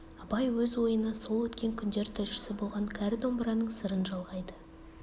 абай өз ойына сол өткен күндер тілшісі болған кәрі домбыраның сырын жалғайды